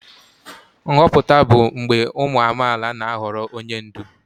Nhọpụta bụ mgbe ụmụ amaala na-ahọrọ onye ndu.